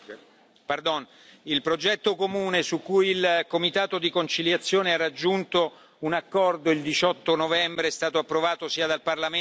Il progetto comune su cui il comitato di conciliazione ha raggiunto un accordo il 18 novembre è stato approvato sia dal Parlamento che dal Consiglio.